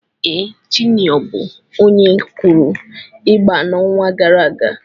Ee, Juniọ bụ onye kụrụ ịgba n'ọnwa gara aga.